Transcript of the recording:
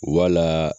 Wala